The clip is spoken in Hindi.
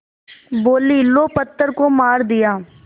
बोलीं लो पत्थर को मार दिया